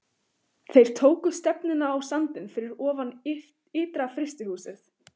Þeir tóku stefnuna á sandinn fyrir ofan ytra-frystihúsið.